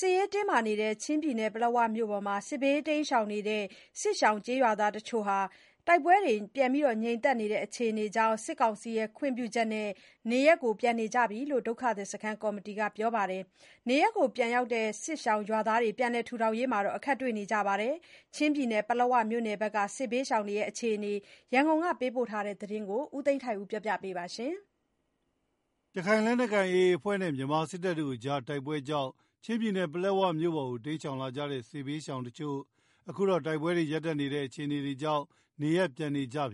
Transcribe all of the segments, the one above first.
စစ်ရေးတင်းမာနေတဲ့ကာလအတွင်း ချင်းပြည်နယ် ပလက်ဝမြို့ပေါ်စစ်ဘေးတိမ်းရှောင်နေကြတဲ့ စစ်ရှောင် ကျေးရွာသားတချို့ဟာ တိုက်ပွဲတွေငြိမ်သက်လာတာကြောင့် စစ်ကောင်စီရဲ့ခွင့်ပြုချက်နဲ့ နေရပ်ပြန်ကြကြောင်း ဒုက္ခသည်စခန်း ကော်မီတီဝင်တွေကပြောပါတယ်။ ဒါပေမယ့် နေရပ်ပြန်ရောက်တဲ့ စစ်ရှောင်ရွာသားတွေ ပြန်လည်ထူထောင်ရေးမှာ အခက်တွေ့နေရတဲ့အခြေအနေတွေအကြောင်း ရန်ကုန်ကပေးပို့တဲ့သတင်းကို ကိုသိန်းထိုက်ဦးက တင်ပြပေးထားပါတယ်။ ရခိုင်လက်နက်ကိုင် AA အဖွဲ့နဲ့ မြန်မာစစ်တပ်တို့ကြားတိုက်ပွဲကြောင့် ချင်းပြည်နယ်၊ ပလက်ဝမြို့ပေါ်ကို တိမ်းရှောင်လာကြတဲ့ စစ်ဘေးရှောင်တချို့ဟာ တိုက်ပွဲရပ်တန့်နေ တာကြောင့် နေရပ်ပြန်နေကြကြောင်း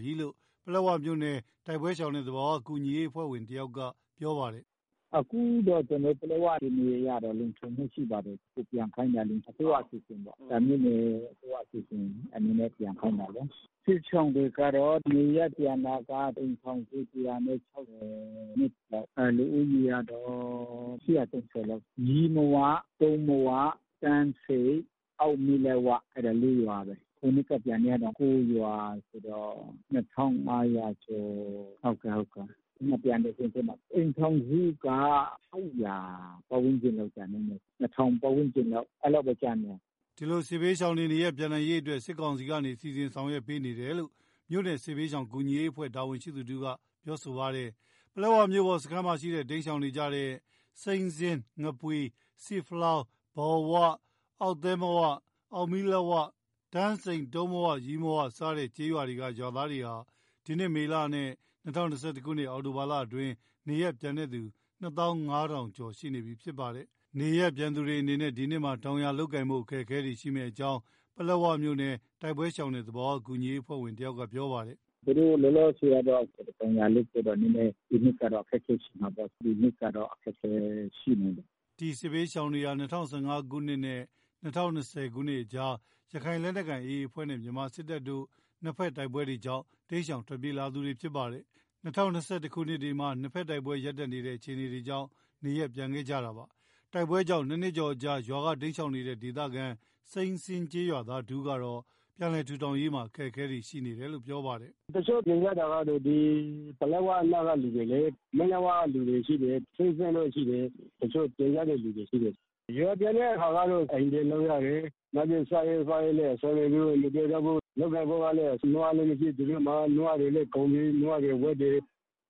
ပလက်ဝမြို့နယ် တိုက်ပွဲရှောင်နဲ့ သဘာဝဘေးကူညီရေးအဖွဲ့ဝင်တဦးကပြောပါတယ်။ “အခု ကျနော်တို့ ပလက်ဝနယ်မြေအရတော့ လုံခြုံမှုရှိပါတယ်။ အိမ်ပြန်ချင်ပါတယ်။ အစိုးရအစီအစဉ်ပေါ့။ မြို့နယ်-အစိုးရအစီစဉ်နဲ့ ပြန်ခိုင်းတာပေါ့။ စစ်ရှောင်တွေကတော့ နေရပ်ပြန်တာက အိမ်ထောင်စုက (၁၆၂) ပေါ့။ လူဦးရေက (၈၀၀) ကျော်ကျော်လောက်။ ရီးမဝ၊ တုံးမဝ၊ တန်းဆိပ်၊ အောက်မီးလက်ဝ အဲဒီ (၄) ရွာပေါ့။ မနှစ်ကပြန်ခဲ့တာ (၉) ရွာဆိုတော့ (၂,၅၀၀) ကျော် ဟုတ်တယ်။ မပြန်တဲ့အထဲမှာ အိမ်ထောင်စုက (၈၀၀) ပတ်ဝန်းကျင်တော့ကျန်ခဲ့မယ်။ လူ (၂,၀၀၀) ပတ်ဝန်း ကျင်ပေါ့။ အဲဒီလောက်တော့ကျန်မယ်။” ဒီ စစ်ဘေးရှောင်တွေနေရပ်ပြန်နိုင်ရေးအတွက် စစ်ကောင်စီကနေ စီစဉ်ဆောင်ရွက်ပေးနေတယ် လို့ မြို့နယ်စစ်ဘေးရှောင် ကူညီရေးအဖွဲ့တာဝန်ရှိသူတဦးက ဆိုပါတယ်။ ပလက်ဝမြို့ပေါ်စခန်းရှိ တိမ်းရှောင်နေကြတဲ့ စိမ်းစင်း၊ ငပွီ၊ ဆီးဖလောင်း၊ ဘောင်ဝ၊ အောက်သဲမဝ၊ အောက်မီးလက်ဝ၊ တန်းဆိပ်၊ တုံးမဝ၊ ရီးမဝ စတဲ့ကျေးရွာက ရွာသားတွေဟာဒီနှစ် မေလနဲ့ ၂၀၂၁ ခုနှစ်-အောက်တိုဘာလအတွင်း နေရပ်ပြန်သူ ၂၅,၀၀၀ ကျော် ရှိနေပြီးဖြစ်ပါတယ်။ နေရပ်ပြန်သူတွေအနေနဲ့ ဒီနှစ်မှာ တောင်ယာလုပ်ကိုင်ဖို့ အခက်ခဲရှိမယ်လို့ ပလက်ဝမြို့နယ် တိုက် ပွဲရှောင်နဲ့ သဘာဝဘေးကူညီရေးအဖွဲ့ဝင်တဦးက ပြောပါတယ်။ “လောလောဆယ်ကတော့ သူတို့ တောင်ယာလုပ်ဖို့တော့ ဒီနှစ်ကျတော့အခက်ခဲရှိမှာပေါ့။ ဒီနှစ်ကျတော့ အခက်ခဲရှိနိုင်တယ်။” ဒီစစ်ဘေးရှောင်တွေဟာ ၂၀၁၅ ခုနှစ်-၂၀၂၀ ခုနှစ်ကြား ရခိုင်လက်နက်ကိုင် AA အဖွဲ့ နဲ့ မြန်မာစစ်တပ်တို့ကြား နှစ်ဖက်တိုက်ပွဲတွေကြောင့် တိမ်းရှောင်ထွက်ပြေးနေရသူတွေဖြစ်ကြပါတယ်။ ၂၀၂၁ ခုနှစ်တွေမှာ နှစ်ဖက်တိုက်ပွဲ ရပ်တန့်နေတဲ့ အခြေအနကြောင့် နေရပ်ပြန်ကြတာဖြစ်ပါတယ်။ တိုက်ပွဲကြောင့် နှစ်နှစ်ကျော်အကြာ ရွာကနေတိမ်းရှောင်နေတဲ့ နေရပ်ပြန် စိမ်းစင်း ကျေးရွာသားတဦးကတော့ ပြန်လည်ထူထောင်ရေးမှာ အခက်တွေ့နေတယ်လို့ ပြောပါတယ်။ “တချို့ပြန်တဲ့သူတွေက ပလက်ဝအနောက်က လူတွေလေ။ မီးလက်ဝလူတွေရှိတယ်။ စိမ်းစင်းတို့ရှိတယ်။ တချို့ပြန် ကြတဲ့သူတွေရှိတယ်။ ရွာပြန်တဲ့အခါကတော့ အိမ်ပြင်လိုက်ရတယ်။ နောက်ပြီး စားရေးသောက်ရေး စားဝတ်နေရေး မပြေလည်ကြဘူး။ လုပ်ကိုင်ဖို့ကလည်း နွားလည်း မရှိ။ သူတို့မှာ နွားတွေလည်း ကုန်ပြီ။ နွားတွေ ဝက်တွေ၊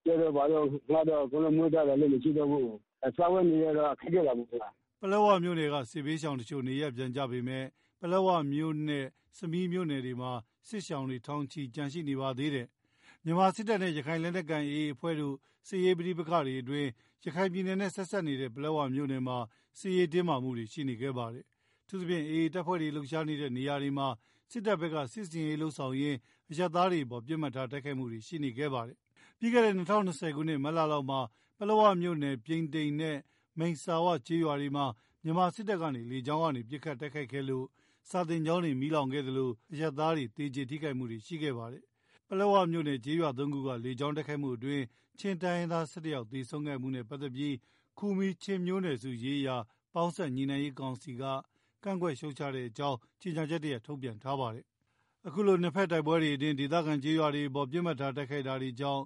ကြက်တို့ဘာတို့ နောက်တော့ သူတို့အမျိုးသားတွေ အလုပ်မရှိတော့ဘူး။ စားဝတ်နေရေးကတော့ ခက်ခဲတာပေါ့။” ပလက်ဝမြို့နယ်က စစ်ရှောင်တချို့ နေရပ်ပြန်ကြပေမယ့် ပလက်ဝမြို့နဲ့ ဆမီးမြို့တွေမှာ စစ်ရှောင်ထောင်ချီ ကျန်ရှိနေပါသေးတယ်။ မြန်မာစစ်တပ်နဲ့ ရခိုင်လက်နက်ကိုင် AA အဖွဲ့တို့ စစ်ရေးပဋိပက္ခအတွင်းမှာ ရခိုင်ပြည်နယ်နဲ့ဆက်စပ်နေတဲ့ ပလက်ဝမြို့နယ်မှာ စစ်ရေးတင်းမာမှုတွေရှိနေခဲ့ပါတယ်။ အထူးသဖြင့် AA တပ်ဖွဲ့တွေလှုပ်ရှားနေတဲ့နေရာတွေမှာ စစ်တပ်ဘက်က စစ်ဆင်ရေးလုပ်ဆောင်ရင်း အရပ်သားတွေအပေါ် ပစ်မှတ်ထားတိုက်ခိုက်ခဲ့မှုတွေရှိနေခဲ့ပါတယ်။ ပြီးခဲ့တဲ့ ၂၀၂၀ ခုနှစ် မတ်လလောက်မှာ ပလက်ဝမြို့နယ် ပြိန်တိန်နဲ့ မိတ်စာဝကျေးရွာမှာ မြန်မာစစ်တပ်ကနေ လေကြောင်းကနေ ပစ်ခတ်တိုက်ခိုက်ခဲ့လို့ စာသင်ကျောင်းမီးလောင်ခဲ့သလို အရပ်သားတွေ သေကြေထိခိုက် မှုရှိခဲ့ပါတယ်။ ပလက်ဝမြို့နယ်၊ ကျေးရွာ ၃ ခုမှာ လေကြောင်းတိုက်ခိုက်မှုအတွင်း ချင်းတိုင်းရင်းသား ၁၁ ဦး သေဆုံးမှုနဲ့ပတ်သက်ပြီး ခူမီးချင်းမျိုးနွယ်စုများရေးရာပေါင်းစပ်ညှိနှိုင်းရေးကောင်စီက ကန့်ကွက်ရှုတ်ချကြောင်း ကြေညာချက်တရပ် ထုတ်ပြန်ထားပါတယ်။ အခုလို နှစ်ဖက်တိုက်ပွဲအတွင်း ဒေသခံရွာသားတွေအပေါ်ပစ်မှတ်ထားတိုက်ခိုက်လာတာကြောင့်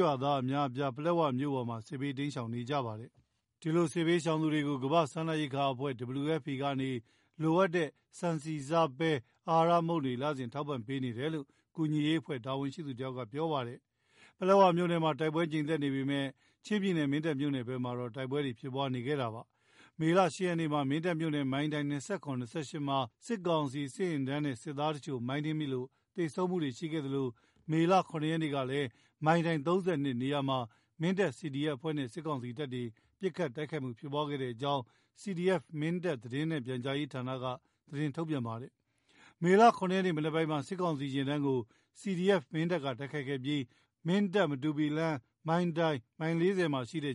ရွာသာဒအများအပြား ပလက်ဝမြို့ပေါ် စစ်ဘေးတိမ်းရှောင်နေကြရပါတယ်။ ဒီစစ်ဘေးရှောင်သူတွေကို ကမ္ဘာ့စားနပ်ရိက္ခာအဖွဲ့ WFP ကနေ လိုအပ်တဲ့ ဆန်၊ဆီ၊ဆား၊ ပဲ၊ အဟာရမုန့်တွေကို လစဉ် ပုံမှန် ထောက်ပံ့ပေးနေတယ်လို့ ကူညီရေးအဖွဲ့ တာဝန်ရှိသူတွေကပြောပါတယ်။ ပလက်ဝမြို့နယ်မှာ တိုက်ပွဲငြိမ်သက်နေပေမယ့် ချင်းပြည်နယ် မင်းတပ်မြို့နယ်ဘက်မှာတော့ တိုက်ပွဲဖြစ်ပွါးနေပါတယ်။ မေလ (၈) ရက်နေ့မှာ မင်းတပ်မြို့နယ် မိုင်တိုင် (၂၇-၂၈) မှာ စစ်ကောင်စီစစ်ယာဉ်တန်းနဲ့ စစ်သည်တချို့ မိုင်းနင်းမိလို့ သေဆုံးမှုရှိသလို မေလ (၇) ရက်နေ့မှာ မိုင်တိုင် (၃၂) နေရာမှာ မင်းတပ် CDF အဖွဲ့နဲ့ စစ်ကောင်စီတပ်တို့ ပစ်ခတ် တိုက်ခိုက်မှုဖြစ်ပွါးခဲ့ကြောင်း CDF-MINDAT (သတင်းနှင့်ပြန်ကြားရေးဌာန) က ထုတ်ပြန်ထားပါတယ်။ မေလ(၇) ရက်နေ့ မနက်ပိုင်းမှာ စစ်ကောင်စီယာဉ်တန်းကို CDF - Mindat က တိုက်ခိုက်ခဲ့ပြီး မင်းတပ် - မတူပီလမ်း မိုင်တိုင်မိုင် (၄၀)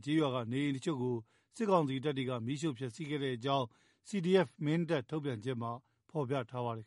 ကျးရွာက နေအိမ်တချို့ကို စစ်ကောင်စီတပ်ဖွဲ့တွေက မီးရှို့ဖျက်စီးခဲ့တယ်လို့ CDF - Mindat ထုတ်ပြန်ချက်မှာ ဖော်ပြထားပါတယ်